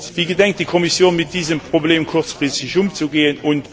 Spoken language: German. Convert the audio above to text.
Wie gedenkt die Kommission, mit diesem Problem kurzfristig umzugehen?